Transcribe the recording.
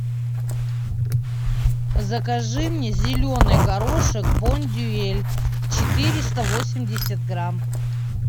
закажи мне зеленый горошек бондюэль четыреста восемьдесят грамм